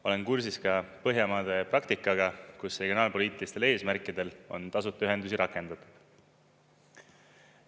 Olen kursis ka Põhjamaade praktikaga, kus regionaalpoliitilistel eesmärkidel on tasuta ühendusi rakendatud.